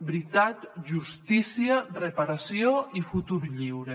veritat justícia reparació i futur lliure